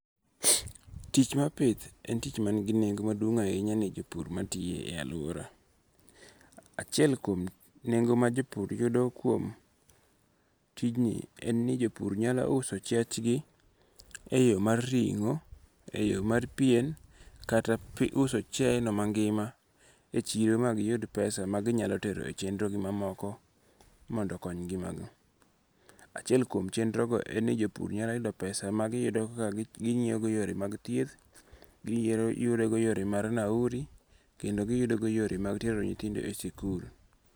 Tich mar pith, en tich manigi nengo' maduong' ahinya ne jopur matiye e aluora, achiel kuom nengo' ma jo pur yodo kuom tijni en ni jopur nyalo uso chiachgi o yo mar ringo', e yo mar pien kata uso chiayeno mangi'ma e chiro magiyud pesa maginyalo tero e chendrogi mamoko mondo okony ngi'magi, achiel kuom chendrogo en ni jopur nyalo yudo pesa magiyudogo ekoka gingi'yogo yore mag thieth giyudogo yore mar nauri, kendo giyudogo yore mag tero nyithindo e sikul.